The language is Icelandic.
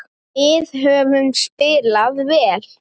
Við höfum spilað vel.